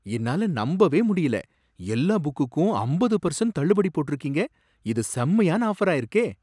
என்னால நம்பவே முடியல! எல்லா புக்குக்கும் அம்பது பெர்சண்ட் தள்ளுபடி போட்டிருக்கீங்க. இது செம்மயான ஆஃபரா இருக்கே!